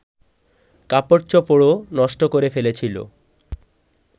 কাপড়চোপড়ও নষ্ট করে ফেলেছিল